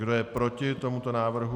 Kdo je proti tomuto návrhu?